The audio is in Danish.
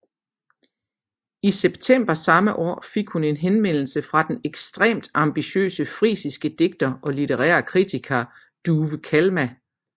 I september samme år fik hun en henvendelse fra den ekstremt ambitiøse frisiske digter og litterære kritiker Douwe Kalma